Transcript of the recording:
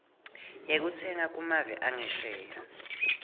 yekutsenga kumave angesheya